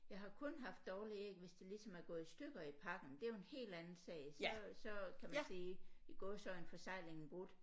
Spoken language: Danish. Jeg har kun haft dårlige æg hvis de ligesom er gået i stykker i pakken det er jo en helt anden sag så så kan man sige i gåseøjne forseglingen brudt